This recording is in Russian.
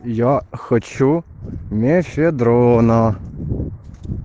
я хочу мефедрона